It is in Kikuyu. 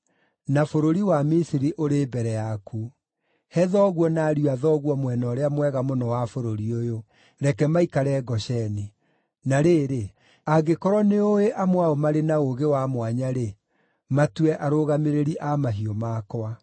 na bũrũri wa Misiri ũrĩ mbere yaku; he thoguo na ariũ a thoguo mwena ũrĩa mwega mũno wa bũrũri ũyũ. Reke maikare Gosheni. Na rĩrĩ, angĩkorwo nĩũũĩ amwe ao marĩ na ũũgĩ wa mwanya-rĩ, matue arũgamĩrĩri a mahiũ makwa.”